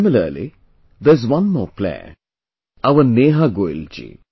Similarly, there is one more player, our Neha Goyal ji